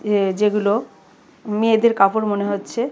ইয়ে যে গুলো মেয়েদের কাপড় মনে হচ্ছে।